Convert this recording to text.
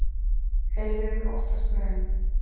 Heimurinn óttast mig enn